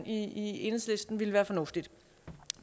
i enhedslisten ville være fornuftigt